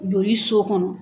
Joli so kɔnɔ!